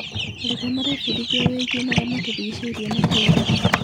Arutwo marebundithia wĩgiĩ marĩa matũrigicĩirie na kũiga.